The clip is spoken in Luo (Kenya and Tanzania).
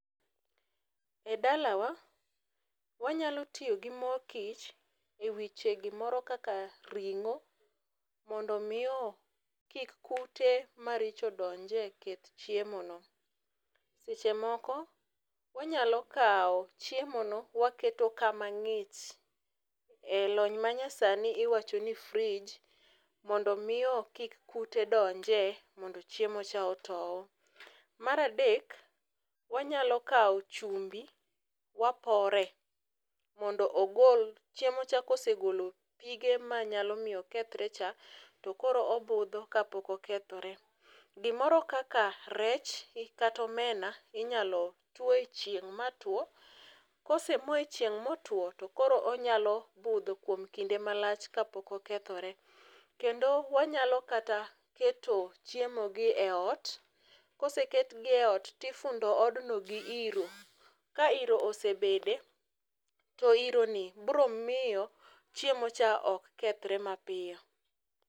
Edalawa wanyalo tiyo gi mo kich ewiche gimoro kaka ringo mondo mi o kik kute maricho donji e chiemo no. Seche moko wanyalo kawo chiemo no waketo kama ng'ich lony manya sani wacho ni fridge mondo mi o kik kute donje mondo chiemo cha otow. Mar adek wanyalo kao chumbi wapore mondo ogol chiemo cha kosegolo pige manyalo miyo okethre cha to koro obudho kapok okethre . Gimoro kaka rech kata omena inyalo tuo e chieng' matuo kosemoe chieng' motwo to onyalo budho kuom kinde malach kapok okethre kendo wanyalo kata keto chiemo gi eot koseketgi e ot tifundo odno gi iro ka iro osebede to ironi bro miyo chiemo cha ok kethre mapiyo.